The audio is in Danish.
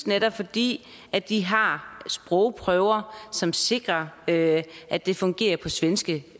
netop fordi de har sprogprøver som sikrer at at det fungerer på svenske